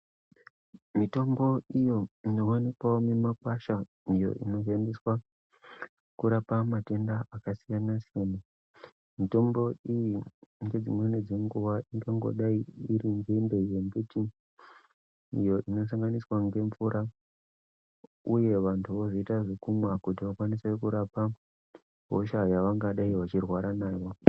Mutombo iyo inowanikwawo mumakwasha iyo inozoendeswa kurapa matenda akasiyana -siyana. Mitombo iyi ngedzimweni dzenguwa ingangodai iri nzinde yembiti iyo inosanganiswa ngemvura uye vantu vozoita zvekumwa kuti vakwanise kurapa hosha yavanvadai vachirwara nayo.